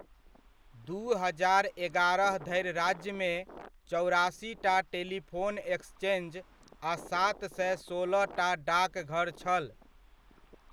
दू हजार एगारह धरि राज्यमे, चौरासीटा टेलीफोन एक्सचेंज आ सात सए सोलहटा डाकघर छल।